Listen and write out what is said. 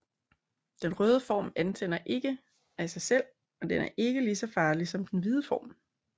Den røde form antænder ikke af sig selv og den er ikke ligeså farlig som den hvide form